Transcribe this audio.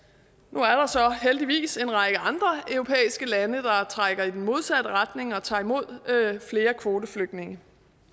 nu er der så heldigvis en række andre europæiske lande der trækker i den modsatte retning og tager imod flere kvoteflygtninge